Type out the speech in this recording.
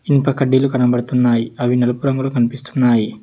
ఇనుప కడ్డీలు కనబడుతున్నాయ్ అవి నలుపు రంగులో కనిపిస్తున్నాయి.